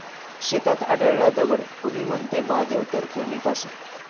शेतात आढळला दगड, कुणी म्हणतं महादेव तर कुणी कासव!